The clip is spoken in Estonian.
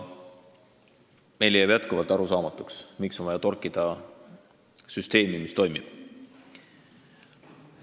Meile jääb jätkuvalt arusaamatuks, miks on vaja torkida süsteemi, mis toimib.